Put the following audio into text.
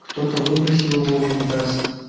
кто-то выбросил его в унитаз